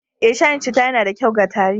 Eh, shayin citta yana da kyau ga tari